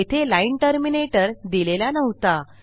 येथे line terminator दिलेला नव्हता